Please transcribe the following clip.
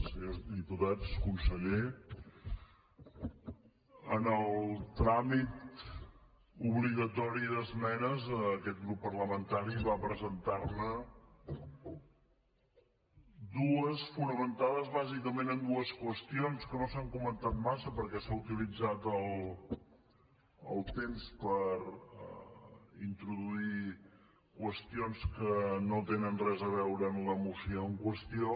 senyors diputats conseller en el tràmit obligatori d’esmenes aquest grup parlamentari va presentar ne dues fonamentades bàsicament en dues qüestions que no s’han comentat massa perquè s’ha utilitzat el temps per introduir qüestions que no tenen res a veure amb la moció en qüestió